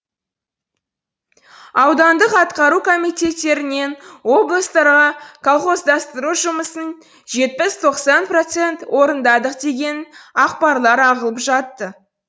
аудандық атқару комитеттерінен облыстарға колхоздастыру жұмысын жетпіс тоқсан процент орындадық деген ақпарлар ағылып жатты